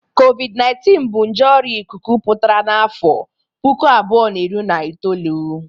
Kovid-19 bụ nje ọrïa ịkụkụ pụtara n'afụ puku abụọ na iri na itolu.